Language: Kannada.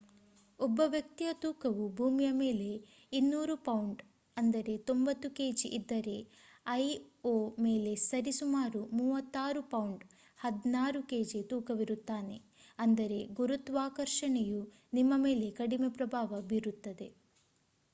ಒಬ್ಬ ವ್ಯಕ್ತಿಯ ತೂಕವು ಭೂಮಿಯ ಮೇಲೆ 200 ಪೌಂಡ್ 90ಕೆಜಿ ಇದ್ದರೆ ಐಒ ಮೇಲೆ ಸರಿ ಸುಮಾರು 36 ಪೌಂಡ್ 16ಕೆಜಿ ತೂಕವಿರುತ್ತಾನೆ. ಅಂದರೆ ಗುರುತ್ವಾಕರ್ಷಣೆಯು ನಿಮ್ಮ ಮೇಲೆ ಕಡಿಮೆ ಪ್ರಭಾವ ಬೀರುತ್ತದೆ